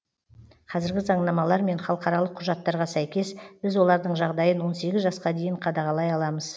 қазіргі заңнамалар мен халықаралық құжаттарға сәйкес біз олардың жағдайын он сегіз жасқа дейін қадағалай аламыз